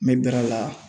N bɛ dɛrɛ a la